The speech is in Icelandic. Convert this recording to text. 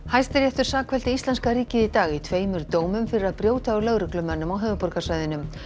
Hæstiréttur sakfelldi íslenska ríkið í dag í tveimur dómum fyrir að brjóta á lögreglumönnum á höfuðborgarsvæðinu